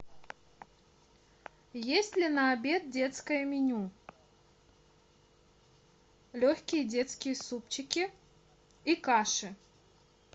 есть ли на обед детское меню легкие детские супчики и каши